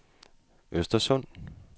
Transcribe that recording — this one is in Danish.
Östersund